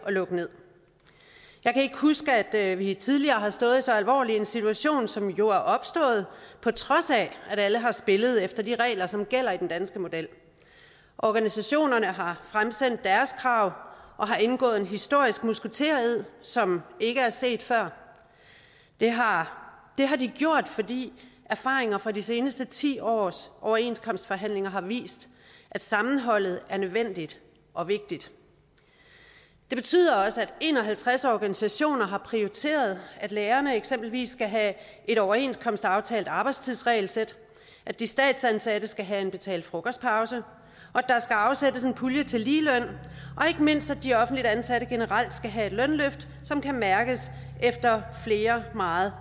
lukker nederst jeg kan ikke huske at vi tidligere har stået i så alvorlig en situation som jo er opstået på trods af at alle har spillet efter de regler som gælder i den danske model organisationerne har fremsendt deres krav og har indgået en historisk musketered som ikke er set før det har har de gjort fordi erfaringer fra de seneste ti års overenskomstforhandlinger har vist at sammenholdet er nødvendigt og vigtigt det betyder også at en og halvtreds organisationer har prioriteret at lærerne eksempelvis skal have et overenskomstaftalt arbejdstidsregelsæt at de statsansatte skal have en betalt frokostpause at der skal afsættes en pulje til ligeløn og ikke mindst at de offentligt ansatte generelt skal have et lønløft som kan mærkes efter flere meget